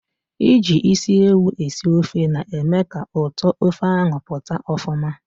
Iji isi ewu esi ofe na-eme ka ụtọ ofe ahụ pụta ọfụma.